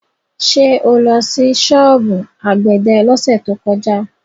Ṣé o lọ sí ṣọ́ọ̀bù àgbẹ̀dẹ lọ́sẹ̀ tó kọjá?